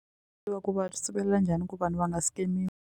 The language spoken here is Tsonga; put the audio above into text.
Loko va sivela njhani ku vanhu va nga .